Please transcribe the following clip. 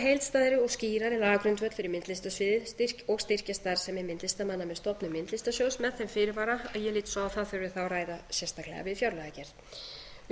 heildstæðari og skýrari lagagrundvöll fyrir myndlistarsviðið og styrkja starfsemi myndlistarmanna með stofnun myndlistarsjóðs með þeim fyrirvara að ég lít svo á að það þurfi þá að ræða sérstaklega við fjárlagagerð